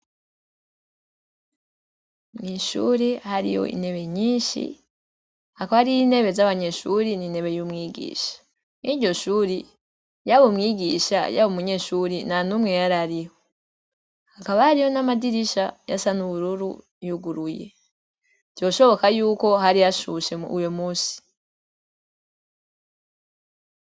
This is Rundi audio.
Mw'ishuri hari yo inebe nyinshi hakaoariyo inebe z'abanyeshuri ninebe y'umwigisha ni ryo shuri yabo umwigisha yabo umunyeshuri na numwe y ari ariho hakabariho n'amadirisha yasa n'ubururu yuguruye vyoshoboka yuko hari hao shubushemu uyo musi.